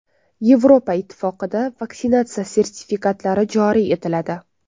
Yevropa Ittifoqida vaksinatsiya sertifikatlari joriy etiladi.